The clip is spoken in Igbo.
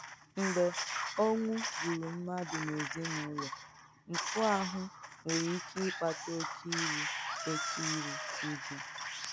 M̀gbè ọ́nwú gbùrù mmadù n’èzíǹúlọ̀, m̀fù àhụ́ nwèrè ìké ìkpàtà òkè ìrù òkè ìrù ùjù.